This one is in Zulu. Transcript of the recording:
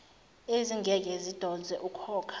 ezingeke zidonse ukhokha